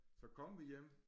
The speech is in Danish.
Så kom vi hjem